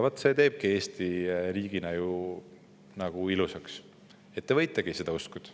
Vaat see teebki ju Eesti riigina ilusaks, et te võitegi seda uskuda.